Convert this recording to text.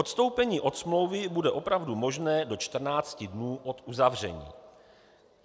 Odstoupení od smlouvy bude opravdu možné do 14 dní od uzavření.